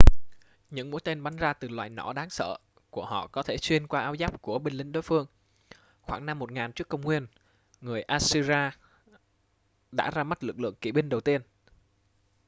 những mũi tên bắn ra từ loại nỏ đáng sợ của họ có thể xuyên qua áo giáp của binh lính đối phương khoảng năm 1000 trước công nguyên người assyria đã ra mắt lực lượng kỵ binh đầu tiên